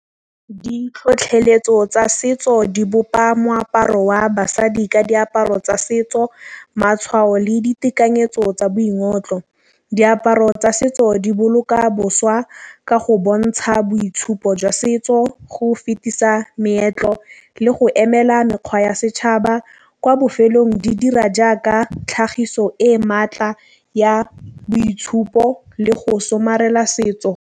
Ditlhotlheletso tsa setso di bopa moaparo wa basadi ka diaparo tsa setso matšhwao le ditekanyetso tsa boingotlo. Diaparo tsa setso di boloka boswa ka go bontšha bo itshupo jwa setso. Go fetisa meetlo le go emela mekgwa ya setšhaba kwa bofelong di dira jaaka tlhagiso e e maatla ya boitshupo le go somarela setso.